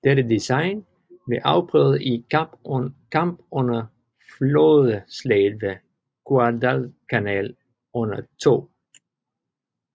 Dette design blev afprøvet i kamp under Flådeslaget ved Guadalcanal under 2